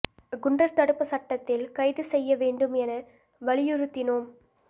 குண்டா் தடுப்புச் சட்டத்தில் கைது செய்ய வேண்டும் என வலியுறுத்தினோம்